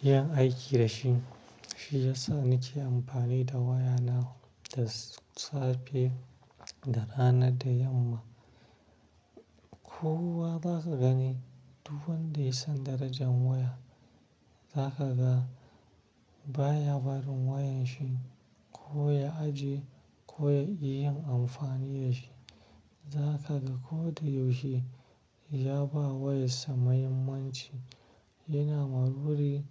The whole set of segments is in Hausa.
yin aiki da shi. Shi yasa nake amfani da wayana da safe, da rana da yamma. Kowa zaka gani duk wanda ya san darajar waya, za ka ga baya barin wayan shi ko ya aji, ko ya yi yin amfani da shi. Za ka ga koda yaushe ya ba wa yasa muhimmanci. Yana maruri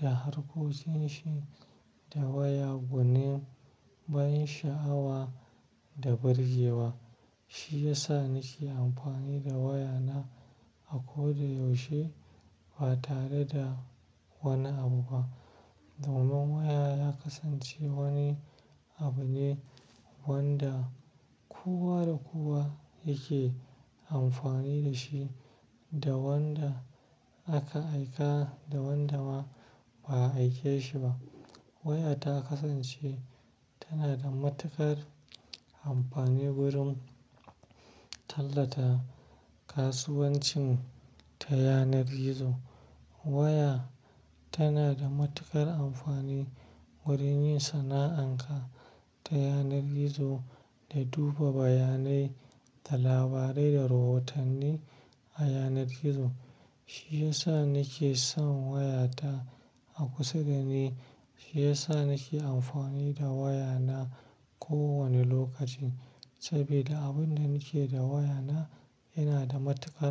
da harkocinsa da waya gunin bayan sha'awa da birgewa. Shi yasa nake amfani da wayana a koda yaushe ba tare da wani abu ba. Domin waya ya kasance wani abu ne wanda kowa da kowa yake amfani da shi da wanda aka aika da wanda ma ba a aike shi ba. Waya ta kasance tana da matuƙar amfani wurin tallata kasuwancin ta yanar gizo. Waya tana da matuƙar amfani wurin yin sana'anka ta yanar gizo da duba bayanai da labarai da rahotanni a yanar gizo. Shi yasa nake son wayata a kusa dani. Shi yasa nake amfani da wayana kowane lokaci saboda abin da nake da wayana yana da matuƙar.